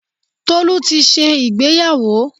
Tolú ti ṣe ìgbéyàwó.